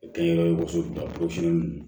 Kɛ n yɛrɛ ye woso woson